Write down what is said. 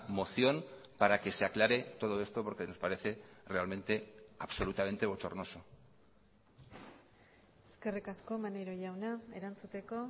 moción para que se aclare todo esto porque nos parece realmente absolutamente bochornoso eskerrik asko maneiro jauna erantzuteko